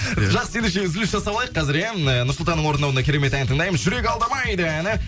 жақсы ендеше үзіліс жасап алайық қазір иә ы нұрсұлтанның орындауында керемет ән тыңдаймыз жүрек алдамайды әні